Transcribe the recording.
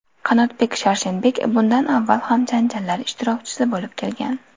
Qanotbek Sharshenbek bundan avval ham janjallar ishtirokchisi bo‘lib kelgan.